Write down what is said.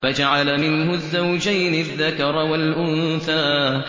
فَجَعَلَ مِنْهُ الزَّوْجَيْنِ الذَّكَرَ وَالْأُنثَىٰ